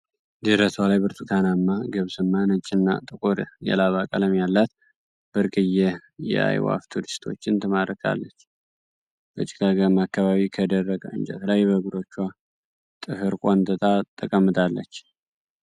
ደረቷ ላይ ብርቱካናማ ፣ ገብስማ፣ ነጭና እና ጥቁር የላባ ቀለም ያላት ብርቅየ የአዕዋፍ ቱሪስቶችን ትማርካለች። በጭጋጋማ አካባቢ ከደረቀ እንጨት ላይ በእግሮቿ ጥፍር ቆንጥጣ ተቀምጣለች።